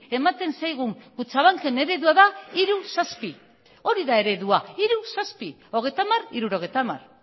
ematen zaigun kutxabanken eredua da hiru zazpi hori da eredua hiru zazpi hogeita hamar hirurogeita hamar